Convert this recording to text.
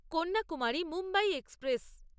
Kanyakumari Mumbai express